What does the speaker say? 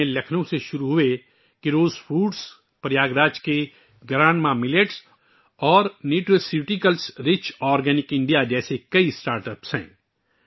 ان میں لکھنؤ سے شروع ہونے والے 'کیروس فوڈس'، پریاگ راج کی 'گرینڈما ملیٹس' اور 'نیوٹراسیوٹیکل رچ آرگینک انڈیا' جیسے کئی اسٹارٹ اپس شامل ہیں